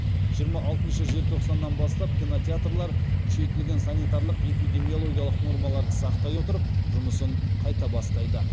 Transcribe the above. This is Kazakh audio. жиырма алтыншы желтоқсаннан бастап кинотеатрлар күшейтілген санитарлық эпидемиологиялық нормаларды сақтай отырып жұмысын қайта бастайды